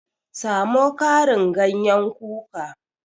Samo Karin ganyen kuka